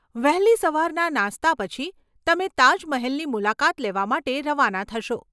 વહેલી સવારના નાસ્તા પછી, તમે તાજમહેલની મુલાકાત લેવા માટે રવાના થશો.